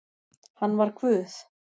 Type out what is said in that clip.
Hann var Guð